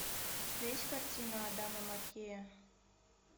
у тебя есть картина адама маккея